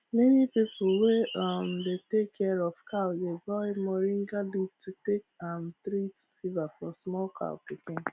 many people wey um dey take care of cow dey boil moringa leaf to take um treat fever for small cow pikin